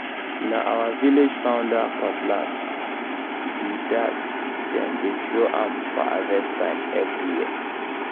na our village founder old cutlass be um that—dem dey show am for harvest time every um year um